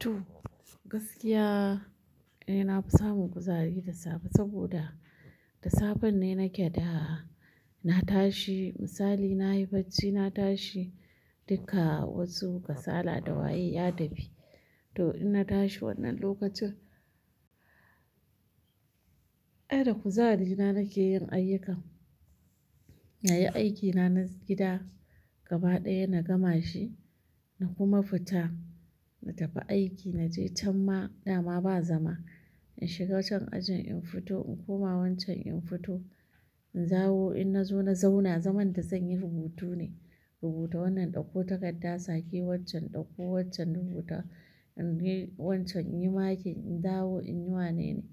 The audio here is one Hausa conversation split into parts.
To, gaskiya eh na fi samun kuzari da safe, saboda da safen ne nake da na tashi misali nayi bacci na tashi duka wasu kasala da waye ya tafi. To inna tashi wannan lokacin, eh da kuzari na nake yin ayyukan. Na yi aikina na gida gaba ɗaya na gama shi. Na kuma fita na tafi aiki na je canma dama ba zama. In shiga can ajin in fito in koma wancan in fito. In dawo in na zo na zauna zaman da zan yi rubutu ne. Rubuta wannan ɗauko takarda, sake waccan, ɗauko waccan rubuta, in yi wancan, in yi makin, in dawo in yi wanene.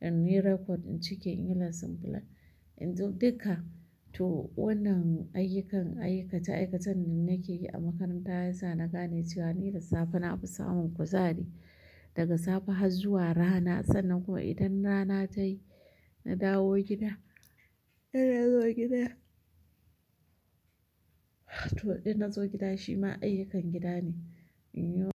In yi record, in cike, in yi lesson plan in zo duka. To wannan ayyukan aikace-aikacen da nake yi a makaranta ya sa na gane cewa ni da safe na fi samun kuzari. Daga safe har zuwa rana sannan kuma idan rana ta yi na dawo gida, idan na zo gida, to idan na zo gida shi ma ayyukan gida ne. In yi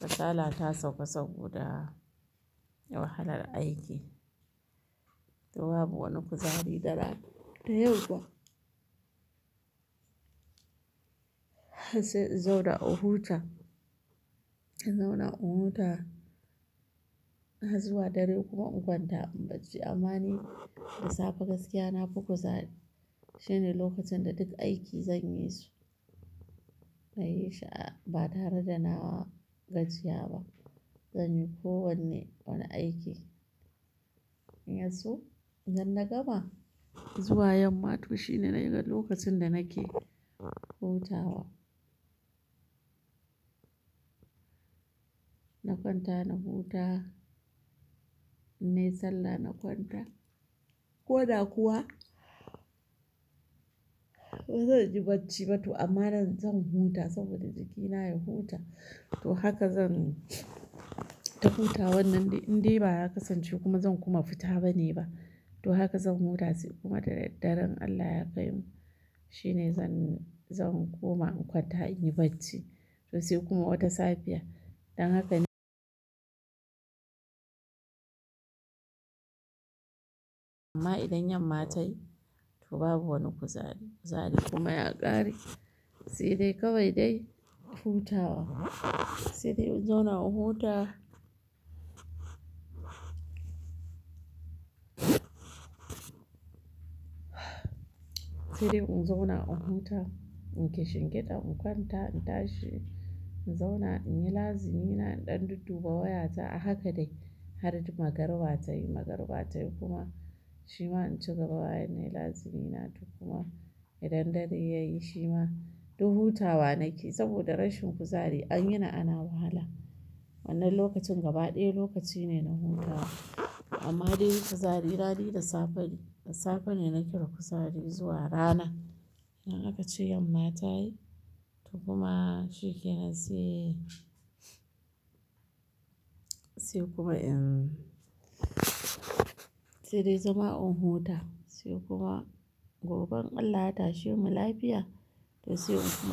kasala ta sauƙa saboda wahalar aiki. To babu wani kuzari da rana, da yamma. Sai in zauna in huta, in zauna in huta har zuwa dare kuma in kwanta in bacci. Amma ni da safe gaskiya na fi kuzari. Shine lokacin da duk aiki zan yi su, na yi sha ah, ba tare da na gajiya ba. Zan yi ko wanne wani aiki. In yaso idan na gama zuwa yamma to shine dai-dai lokacin da nake hutawa. Na kwanta na huta, in nayi sallah na kwanta. Ko da kuwa bazan ji bacci ba to amma zan huta saboda jikina ya huta. To haka zan ta hutawan nan dai indai ba ya kasance kuma dan kuma fita bane ba. To haka zan huta sai kuma da daddare in Allah ya kaimu shine zan, zan koma in kwanta in yi bacci. To sai kuma wata safiya, dan haka ne amma idan yamma ta yi to babu wani kuzari, kuzari kuma ya ƙare. Sai dai kawai dai hutawa. Sai dai in zauna in huta. Sai dai in zauna in huta in ƙishin giɗa in kwanta in tashi in zauna in yi lazimina in ɗan dudduba wayata a haka dai har magriba tayi, magriba tayi kuma shi ma in ci gaba bayan nayi lazimina toh. Kuma idan dare yayi shi ma, to hutawa nake saboda rashin kuzari an yini ana wahala. Wannan lokacin gaba ɗaya lokaci ne na hutawa. Amma dai kuzari na dai da safe ne, da safe ne nake da kuzari zuwa rana. Idan aka ce yamma ta yi to kuma shi ke na sai, sai kuma in, sai dai zama in huta sai kuma gobe in Allah ya tashe mu lafiya to sai in kuma.